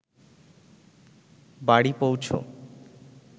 বাড়ি পৌঁছ